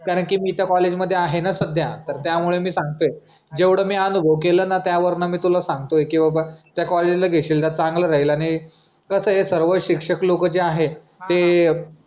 कारण की मी त्या कॉलेजमध्ये आहे ना सध्या तर त्यामुळे मी सांगतोय. जेवढं मी अनुभव केलय ना की त्यावरनं मी तुला सांगतोय की बाबा त्या कॉलेजला घेशील तर चांगलं राहील आणि कस आहे सर्व शिक्षक लोक जे आहे ते